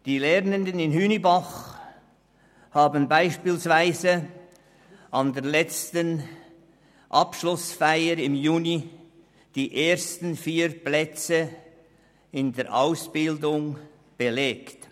Die Lernenden in Hünibach haben an der letzten Abschlussfeier im Juni 2017 die ersten vier Plätze belegt.